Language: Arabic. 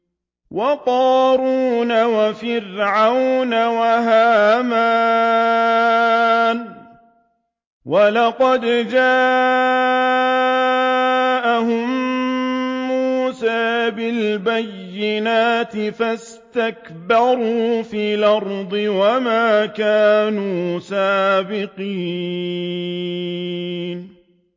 وَقَارُونَ وَفِرْعَوْنَ وَهَامَانَ ۖ وَلَقَدْ جَاءَهُم مُّوسَىٰ بِالْبَيِّنَاتِ فَاسْتَكْبَرُوا فِي الْأَرْضِ وَمَا كَانُوا سَابِقِينَ